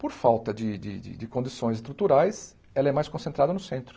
Por falta de de de condições estruturais, ela é mais concentrada no centro.